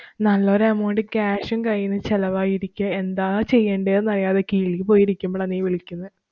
നല്ല ഒരു amountcash ഉം കൈയീന്നു ചെലവായിരിക്കേ. എന്താ ചെയ്യേണ്ടന്ന് അറിയാതെ കിളി പോയിരിക്കുമ്പോളാ നീ വിളിക്കുന്നേ.